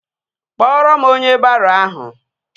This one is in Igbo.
Kpọrọ m onye baro ahụ!